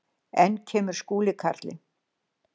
Enn kemur Skúli karlinn.